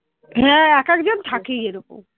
হ্যাঁ এক একজন থাকেই এরকম